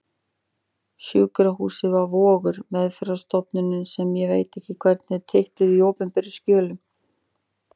Sjúkrahúsið var Vogur, meðferðarstofnunin sem ég veit ekki hvernig er titluð í opinberum skjölum.